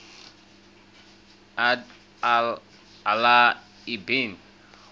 abd allah ibn